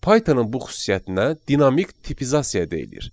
Pythonun bu xüsusiyyətinə dinamik tipizasiya deyilir.